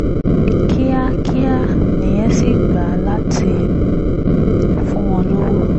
kíákíá nìyẹn sì gbà láti fún wọn lọ́wọ́